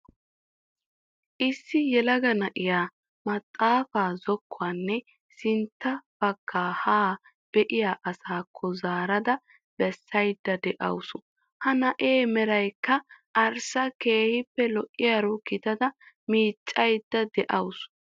Issi yelaga na'iyaa maxaafaa zokkuwaanne sinnta baggaa haa be'iyaa asaakko zaarada bessayda de'awus. Ha na'ee meraykka arssa keehippe lo"iyaaro gidada miccayda de'awus.